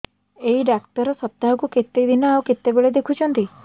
ଏଇ ଡ଼ାକ୍ତର ସପ୍ତାହକୁ କେତେଦିନ ଆଉ କେତେବେଳେ ଦେଖୁଛନ୍ତି